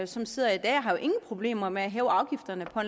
som sidder i dag har jo ingen problemer med at hæve afgifterne på